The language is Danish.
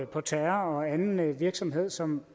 på terror og anden virksomhed som